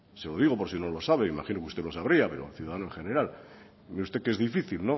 se lo digo por si no lo sabe imagino que usted lo sabría pero el ciudadano en general cree usted que es difícil